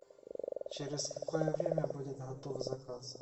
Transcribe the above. через какое время будет готов заказ